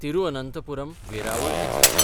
तिरुअनंथपुरम–वेरावळ express